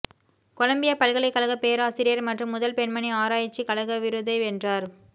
Colombia பல்கலைக்கழக பேராசிரியர் மற்றும் முதல் பெண்மணி ஆராய்ச்சி கழக விருதை வென்றார்